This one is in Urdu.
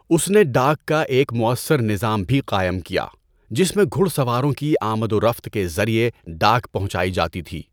اس نے ڈاک کا ایک مؤثر نظام بھی قائم کیا، جس میں گھڑ سواروں کی آمد و رفت کے ذریعے ڈاک پہنچائی جاتی تھی۔